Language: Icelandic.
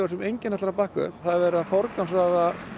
sem enginn ætlar að bakka upp það er verið að forgangsraða